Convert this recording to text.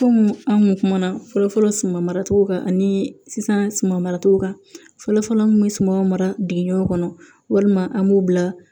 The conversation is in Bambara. Komi an kun kumana fɔlɔfɔlɔ suman maracogo kan ani sisan suman maracogo kan fɔlɔ fɔlɔ an tun bɛ sumanw mara dugu kɔnɔ walima an b'u bila